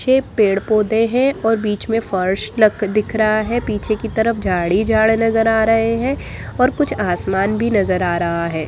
पीछे पेड़ पौधे हैं और बीच में फर्श दिख रहा हैं पीछे कि तरफ झाड़ ही झाड़ नज़र आ रहे हैं और कुछ आसमान भी नज़र आ रहा हैं।